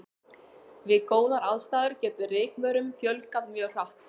Við góðar aðstæður getur rykmaurum fjölgað mjög hratt.